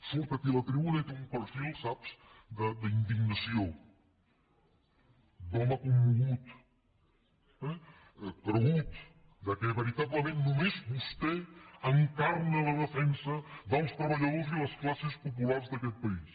surt aquí a la tribuna i té un perfil saps d’indignació d’home commogut eh cregut que veritablement només vostè encarna la defensa dels treballadors i les classes populars d’aquest país